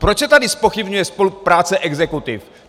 Proč se tady zpochybňuje spolupráce exekutiv?